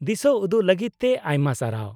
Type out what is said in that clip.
-ᱫᱤᱥᱟᱹᱩᱫᱩᱜ ᱞᱟᱹᱜᱤᱫ ᱛᱮ ᱟᱭᱢᱟ ᱥᱟᱨᱦᱟᱣ ᱾